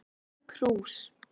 Tóm krús